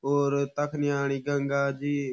और तख नी आणि गंगा जी।